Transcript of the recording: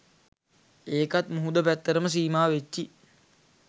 ඒකත් මුහුද පැත්තටම සීමා වෙච්චි